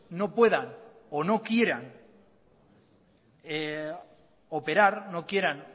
no puedan o no quieran operar no quieran